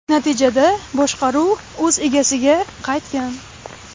Natijada boshqaruv o‘z egasiga qaytgan.